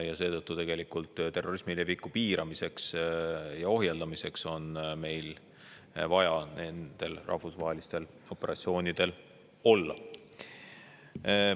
Nii et ka terrorismi leviku piiramiseks ja ohjeldamiseks on meil vaja nendel rahvusvahelistel operatsioonidel osaleda.